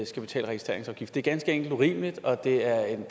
skal betale registreringsafgift det er ganske enkelt urimeligt og det er en